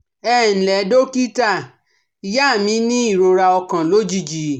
Ẹ ǹ lẹ́ dókítà, ìyá mi ní ìrora ọkàn lójijì